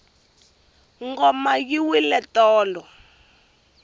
ngoma yi wile tolo